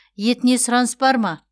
етіне сұраныс бар ма